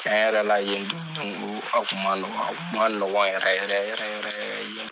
Cɛn yɛlɛla yen dumuni ko a kun ma nɔgɔ, a kun ma nɔgɔ yɛrɛ yɛrɛ yɛrɛ